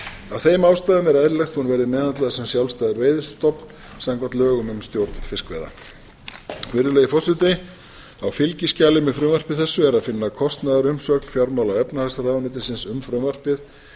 af þeim ástæðum er eðlilegt að hún verði meðhöndluð sem sjálfstæður veiðistofn samkvæmt lögum um stjórn fiskveiða virðulegi forseti á fylgiskjali með frumvarpi þessu er að finna kostnaðarumsögn fjármála og efnahagsráðuneytisins um frumvarpið